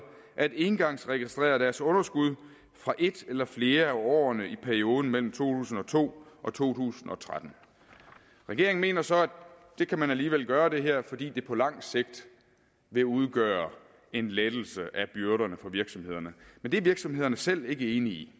at engangsregistrere deres underskud fra ét eller flere af årene i perioden mellem to tusind og to og to tusind og tretten regeringen mener så at man alligevel kan gøre det her fordi det på lang sigt vil udgøre en lettelse af byrderne for virksomhederne men det er virksomhederne selv ikke enige i